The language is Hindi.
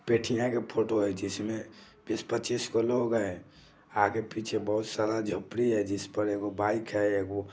बिटिया के फोटो है जिसमें के बीस पच्चीस बा लोग हैआगे पीछे बहुत सारा झोपड़ी है जिस पर एगो बाइक है एगो --